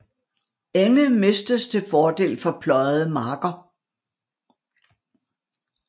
Enge mistes til fordel for pløjede marker